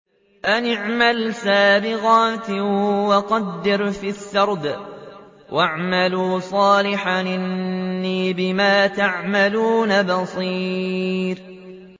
أَنِ اعْمَلْ سَابِغَاتٍ وَقَدِّرْ فِي السَّرْدِ ۖ وَاعْمَلُوا صَالِحًا ۖ إِنِّي بِمَا تَعْمَلُونَ بَصِيرٌ